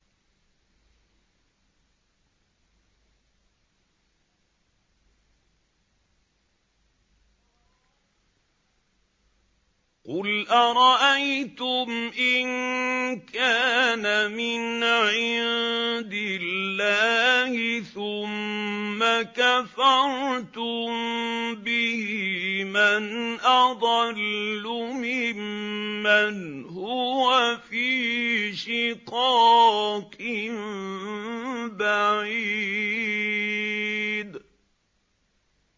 قُلْ أَرَأَيْتُمْ إِن كَانَ مِنْ عِندِ اللَّهِ ثُمَّ كَفَرْتُم بِهِ مَنْ أَضَلُّ مِمَّنْ هُوَ فِي شِقَاقٍ بَعِيدٍ